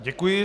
Děkuji.